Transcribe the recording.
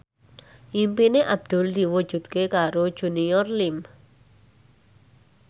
impine Abdul diwujudke karo Junior Liem